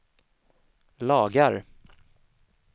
lagar